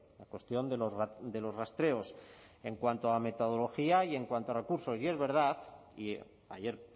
la cuestión de los rastreos en cuanto a metodología y en cuanto a recursos y es verdad y ayer